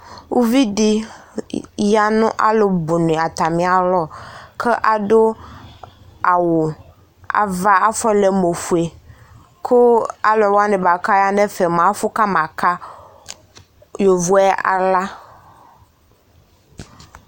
Uvi dɩ ya nʋ alʋbʋnɩ atamɩalɔ kʋ adʋ awʋ ava afɔlɛ mʋ ofue kʋ alʋ wanɩ kʋ aya nʋ ɛfɛ mʋa, afʋ kamaka yovo yɛ aɣla